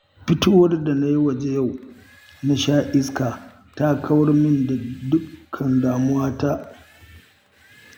Fitowar da na yi waje yau na sha iska, ta kawar min da dukkan damuwata